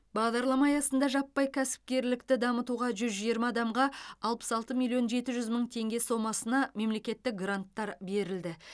бағдарлама аясында жаппай кәсіпкерлікті дамытуға жүз жиырма адамға алпыс алты миллион жеті жүз мың теңге сомасына мемлекеттік гранттар берілді